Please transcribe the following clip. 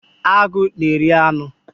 Agụ na-eri anụ